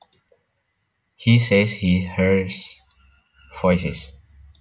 He says he hears voices